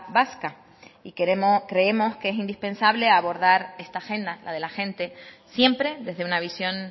vasca y creemos que es indispensable abordar esta agenda la de la gente siempre desde una visión